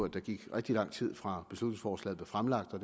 der gik rigtig lang tid fra beslutningsforslaget blev fremlagt og